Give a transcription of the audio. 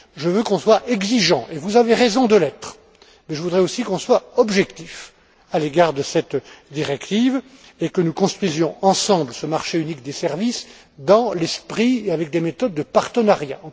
Je veux que nous soyons exigeants et vous avez raison de l'être mais je voudrais aussi que nous soyons objectifs à l'égard de cette directive et que nous construisions ensemble ce marché unique des services dans l'esprit et avec des méthodes de partenariat.